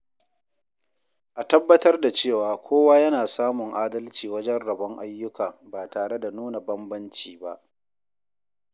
A tabbatar da cewa kowa yana samun adalci wajen rabon ayyuka ba tare da nuna bambanci ba.